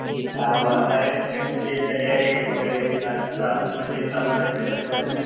मग अरे मग ते तयारी वगैरे म्हणजे समर वैकेशन मध्ये